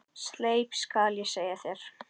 Sleip skal ég segja þér.